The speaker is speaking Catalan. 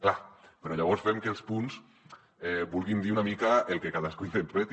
clar però llavors fem que els punts vulguin dir una mica el que cadascú interpreti